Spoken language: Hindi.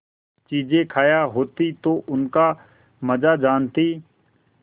चीजें खायी होती तो उनका मजा जानतीं